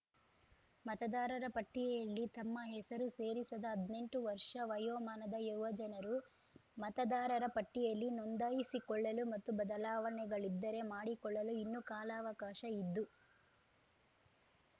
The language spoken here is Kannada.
ಮತದಾರರ ಪಟ್ಟಿಯಲ್ಲಿ ತಮ್ಮ ಹೆಸರು ಸೇರಿಸದ ಹದ್ನೆಂಟು ವರ್ಷ ವಯೋಮಾನದ ಯುವಜನರು ಮತದಾರರ ಪಟ್ಟಿಯಲ್ಲಿ ನೋಂದಾಯಿಸಿಕೊಳ್ಳಲು ಮತ್ತು ಬದಲಾವಣೆಗಳಿದ್ದರೆ ಮಾಡಿಕೊಳ್ಳಲು ಇನ್ನೂ ಕಾಲಾವಕಾಶ ಇದ್ದು